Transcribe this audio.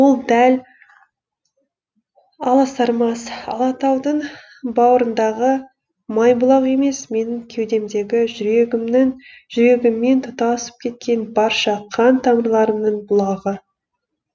ол дәл аласармас алатаудың бауырындағы майбұлақ емес менің кеудемдегі жүрегіммен тұтасып кеткен барша қан тамырларымның бұлағы